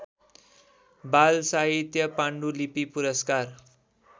बालसाहित्य पाण्डुलिपि पुरस्कार